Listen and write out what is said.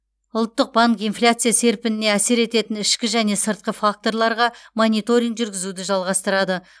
ұлттық банк инфляция серпініне әсер ететін ішкі және сыртқы факторларға мониторинг жүргізуді жалғастырады